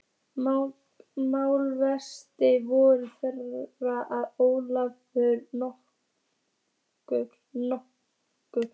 Málavextir voru þeir að Ólafur nokkur